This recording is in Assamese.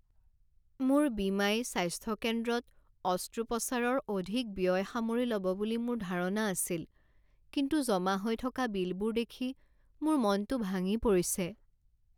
মোৰ বীমাই স্বাস্থ্য কেন্দ্ৰত অস্ত্ৰোপচাৰৰ অধিক ব্যয় সামৰি ল'ব বুলি মোৰ ধাৰণা আছিল। কিন্তু জমা হৈ থকা বিলবোৰ দেখি মোৰ মনতো ভাঙি পৰিছে।